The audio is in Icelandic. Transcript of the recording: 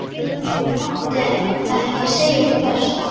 Ég mátti ekki segja hvert.